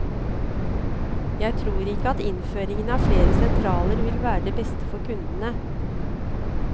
Jeg tror ikke at innføring av flere sentraler vil være det beste for kundene.